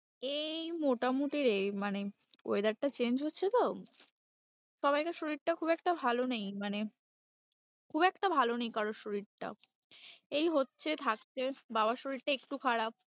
এই মোটামুটি রে, মানে weather টা change হচ্ছে তো, সবাইকার শরীরটা খুব একটা ভালো নেই মানে খুব একটা ভালো নেই কারোর শরীরটা, এই হচ্ছে থাকছে, বাবার শরীরটা একটু খারাপ।